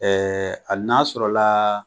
Ɛɛ hali n'a sɔrɔ la